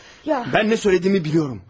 Mən nə söylədiyimi bilirəm.